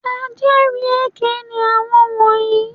Ajẹ́rìí èké ni àwọn wọ̀nyí.